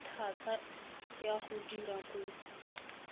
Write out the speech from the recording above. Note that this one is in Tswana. thata ya go dira kopo